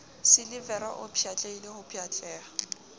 silivera o pshatlehile ho pshatleha